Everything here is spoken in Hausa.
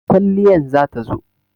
Mai kwalliyan za ta zo.